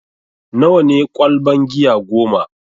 Nawa ne ƙwalban giya goma?